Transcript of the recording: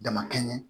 Dama kɛɲɛ